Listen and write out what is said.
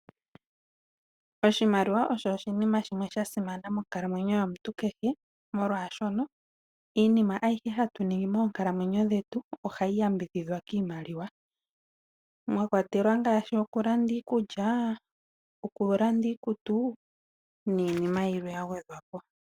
Oshimaliwa osho oshinima shimwe shasimana monkalamwenyo yomuntu kehe, molwaashono iinima ayihe hatu ningi moonkalamwenyo dhetu, ohayi yambidhidhwa kiimaliwa. Omwa kwatelwa ngaashi okulanda iikulya, iikutu, niinima yilwe ya gwedhwapo.